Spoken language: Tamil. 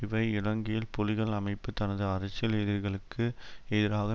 இவை இலங்கையில் புலிகள் அமைப்பு தனது அரசியல் எதிரிகளுக்கு எதிராக